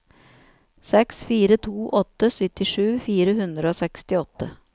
seks fire to åtte syttisju fire hundre og sekstiåtte